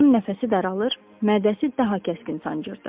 Onun nəfəsi daralır, mədəsi daha kəskin sancırdı.